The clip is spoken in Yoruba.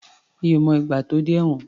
Mi ò mọ ìgbà tó dé ẹ̀wọ̀n.